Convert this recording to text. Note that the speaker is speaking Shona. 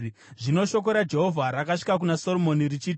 Zvino shoko raJehovha rakasvika kuna Soromoni richiti,